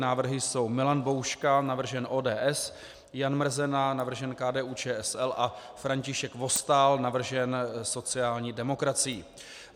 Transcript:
Návrhy jsou: Milan Bouška, navržen ODS, Jan Mrzena, navržen KDU-ČSL, a František Vostál, navržen sociální demokracií;